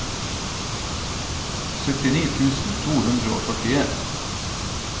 syttini tusen to hundre og førtien